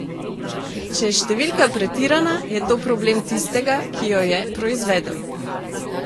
Če je številka pretirana, je to problem tistega, ki jo je proizvedel.